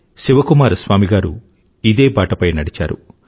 శివకుమార స్వామి గారు ఇదే బాటపై నడిచారు